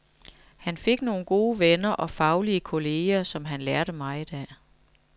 Han fik nogle gode venner og faglige kolleger, som han lærte meget af.